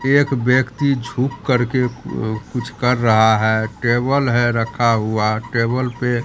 एक व्यक्ति झुक करके अ कुछ कर रहा है टेबल है रखा हुआ टेबल पे--